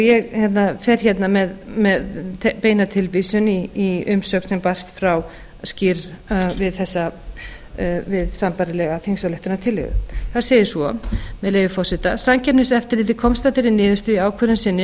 ég fer hérna með beina tilvísun í umsögn sem barst frá skýrr við sambærilega þingsályktunartillögu þar segir svo með leyfi forseta samkeppniseftirlitið komst að þeirri niðurstöðu í ákvörðun sinni